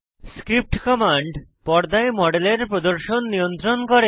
script command পর্দায় মডেলের প্রদর্শন নিয়ন্ত্রণ করে